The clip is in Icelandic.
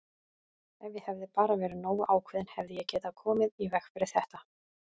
Ef ég hefði bara verið nógu ákveðinn hefði ég getað komið í veg fyrir þetta!